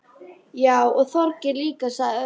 Já, og Þorgeir líka sagði Örn.